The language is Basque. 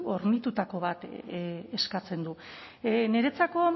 hornitutako bat eskatzen du niretzako